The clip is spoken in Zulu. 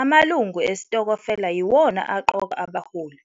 Amalungu esitokofela yiwona aqoka abaholi,